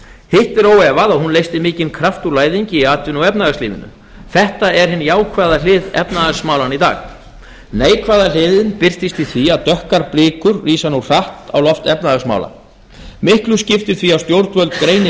hitt er óefað að hún leysti mikinn kraft úr læðingi í atvinnu og efnahagslífinu þetta er hin jákvæða hlið efnahagsmálanna í dag neikvæða hliðin birtist í því að dökkar blikur rísa nú hratt á loft efnahagsmála miklu skiptir því að stjórnvöld greini